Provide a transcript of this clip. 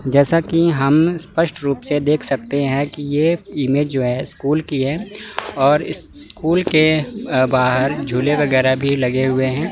जैसा कि हम स्पष्ट रूप से देख सकते हैं कि ये इमेज जो है स्कूल की है और स्कूल के बाहर झूले वगैरह भी लगे हुए हैं।